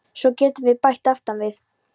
Svo getum við bætt aftan við